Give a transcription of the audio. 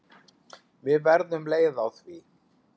Við verðum leið á því.